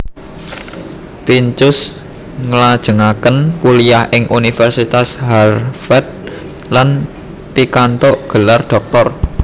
Pincus nglajengaken kuliah ing Universitas Harvard lan pikantuk gelar dhoktor